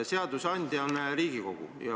Seadusandja on Riigikogu.